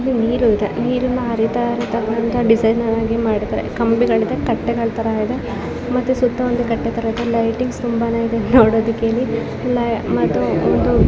ಇಲ್ಲಿ ನೀರು ಇದೆ ನೀರಿನ ಹರಿತಾ ಇರೋದನ್ನ ಡಿಸೈನ್ ಆಗಿ ಮಾಡಿದ್ದಾರೆ ಕಂಬಿಗಲಿದೆ ಕಟ್ಟೆಗಳತರ ಇದೆ ಮತ್ತೆ ಸುತ್ತ ಒಂದು ಕಟ್ಟೆತರ ಇದೆ ಲೈಟಿಂಗ್ಸ್ ತುಂಬಾನೇ ಇದೆ ನೋಡೋದಿಕ್ಕೆ ಇಲ್ಲಿ ಮತ್ತು ಇದು.